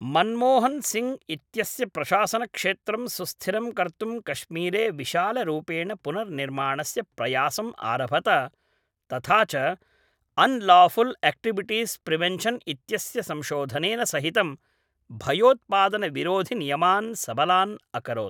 मनमोहनसिङ्ग् इत्यस्य प्रशासनक्षेत्रं सुस्थिरं कर्तुं कश्मीरे विशालरूपेण पुनर्निर्माणस्य प्रयासम् आरभत तथा च अन् लाफ़ुल् एक्टिविटीस् प्रिवेन्शन् इत्यस्य संशोधनेन सहितं भयोत्पादनविरोधिनियमान् सबलान् अकरोत्